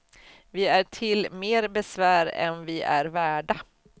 Vi är till mer besvär än vi är värda.